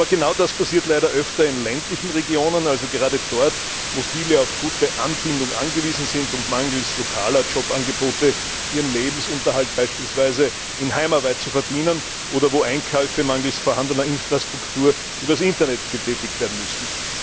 Aber genau das passiert leider öfter in ländlichen Regionen, also gerade dort, wo viele auf gute Anbindung angewiesen sind und mangels lokaler Jobangebote ihren Lebensunterhalt beispielsweise in Heimarbeit verdienen oder wo Einkäufe mangels vorhandener Infrastruktur über das Internet getätigt werden müssen.